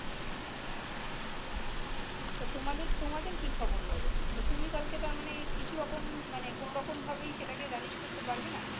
তা তোমাদের তোমাদের কি খবর বলো তুমি কালকে তার মানে কিছু রকম ভাবে কোন রকম ভাবে করতে পারবে নাহ ।